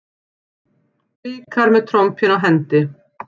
Blikar með trompin á hendi